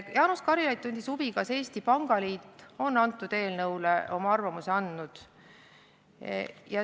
Jaanus Karilaid tundis huvi, kas Eesti Pangaliit on eelnõu kohta oma arvamuse andnud.